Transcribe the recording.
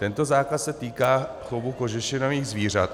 Tento zákaz se týká pouze kožešinových zvířat.